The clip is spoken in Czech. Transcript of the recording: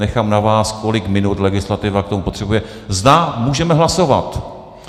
Nechám na vás, kolik minut legislativa k tomu potřebuje, zda můžeme hlasovat.